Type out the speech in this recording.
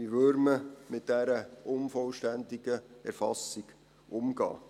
Wie würde man mit dieser unvollständigen Erfassung umgehen?